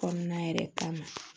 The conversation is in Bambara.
Kɔnɔna yɛrɛ kama